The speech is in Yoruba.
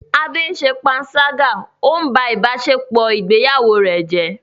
Ade ṣe panṣágà, ó ń ba ìbáṣepọ̀ ìgbéyàwó rẹ̀ jẹ́.